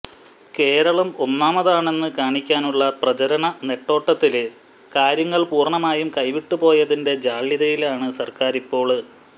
കേരളം ഒന്നാമതാണെന്ന് കാണിക്കാനുള്ള പ്രചാരണ നെട്ടോട്ടത്തില് കാര്യങ്ങള് പൂര്ണ്ണമായും കൈവിട്ടുപോയതിന്റെ ജാള്യതയിലാണ് സര്ക്കാരിപ്പോള്